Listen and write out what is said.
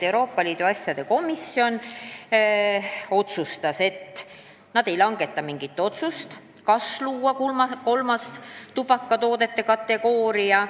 Lõpuks komisjon otsustas, et nad ei langeta otsust, kas luua kolmas tubakatoodete kategooria.